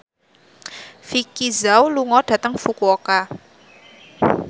Vicki Zao lunga dhateng Fukuoka